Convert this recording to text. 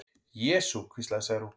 Jesú, hvíslaði Særún.